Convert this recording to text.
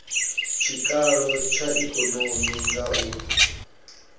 tshikalo tsha ikonomi nga u